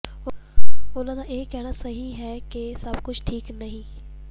ਉਨ੍ਹਾਂ ਦਾ ਇਹ ਕਹਿਣਾ ਤਾਂ ਸਹੀ ਹੈ ਕਿ ਸੱਭ ਕੁੱਝ ਠੀਕ ਨਹੀਂ